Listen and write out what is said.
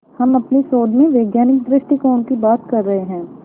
हम अपने शोध में वैज्ञानिक दृष्टिकोण की बात कर रहे हैं